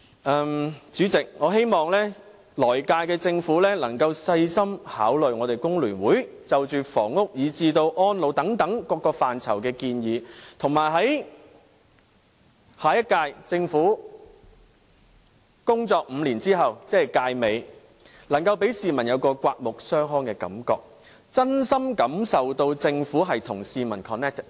代理主席，我希望來屆政府可以細心考慮工聯會就着房屋至安老等各範疇的建議，以及希望下屆政府在其工作5年後，於屆尾時可令市民有刮目相看的感覺，真心感受到政府與市民 "connected"，